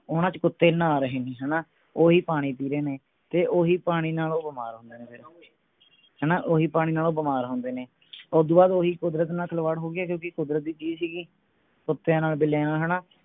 ਉਹਨਾਂ ਚ ਕੁੱਤੇ ਨਹਾ ਰਹੇ ਨੇ ਹਣਾ ਉਹੀ ਪਾਣੀ ਪੀ ਰਹੇ ਨੇ ਤੇ ਓਹੀ ਪਾਣੀ ਨਾਲ ਉਹ ਬਿਮਾਰ ਹੁੰਦੇ ਨੇ ਹਣਾ ਓਹੀ ਪਾਣੀ ਨਾਲ ਉਹ ਬਿਮਾਰ ਹੁੰਦੇ ਨੇ ਓਦੂੰ ਬਾਅਦ ਓਹੀ ਕੁਦਰਤ ਨਾਲ ਖਿਲਵਾੜ ਹੋਗੀ ਕਿਓਂਕਿ ਕੁਦਰਤ ਦੀ ਚੀਜ ਸੀਗੀ ਕੁੱਤੇ ਨਾਲ ਬਿਲੀਆਂ ਨਾਲ ਹਣਾ